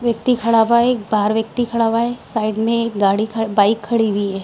व्यक्ति खड़ा हुआ है बाहर व्यक्ति खड़ा हुआ है साइड मे एक गाड़ी एक बाइक खड़ी हुई है।